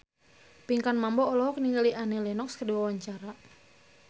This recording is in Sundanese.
Pinkan Mambo olohok ningali Annie Lenox keur diwawancara